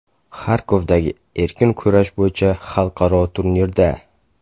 Xarkovdagi erkin kurash bo‘yicha xalqaro turnirda.